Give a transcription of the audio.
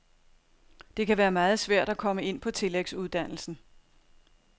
Det kan være meget svært at komme ind på tillægsuddannelsen.